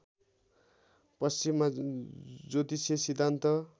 पश्चिमा ज्योतिषीय सिद्धान्त